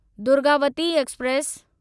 Durgavati express